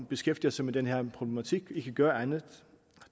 beskæftiger sig med den her problematik dagligt ikke gør andet